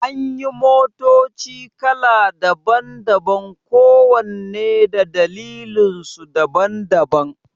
Anyi motoci kala daban-daban kowanne da dalilansu daban-daban